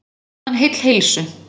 Varð hann heill heilsu.